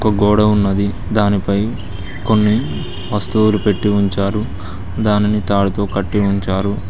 ఒక గోడ ఉన్నది దానిపై కొన్ని వస్తువులు పెట్టి ఉంచారు దానిని తాడుతో కట్టి ఉంచారు.